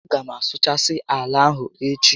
A gá m asụchasị ala ahụ echi